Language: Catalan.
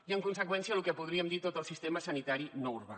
i en conseqüència el que podríem dir tot el sistema sanitari no urbà